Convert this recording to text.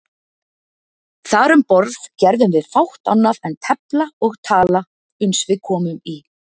Þar um borð gerðum við fátt annað en tefla og tala uns við komum í